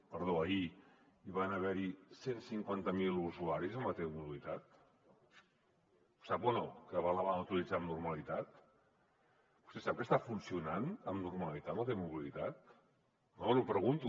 perdó ahir hi van haver cent i cinquanta miler usuaris amb la t mobilitat ho sap o no que la van utilitzar amb normalitat vostè sap que està funcionant amb normalitat la t mobilitat no li ho pregunto